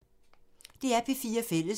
DR P4 Fælles